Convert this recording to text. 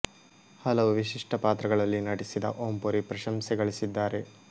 ಹಲವು ವಿಶಿಷ್ಟ ಪಾತ್ರಗಳಲ್ಲಿ ನಟಿಸಿದ ಓಂ ಪುರಿ ಪ್ರಶಂಸೆ ಗಳಿಸಿದ್ದಾರೆ